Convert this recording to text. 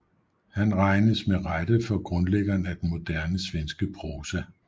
Han regnes med rette for grundlæggeren af den moderne svenske prosa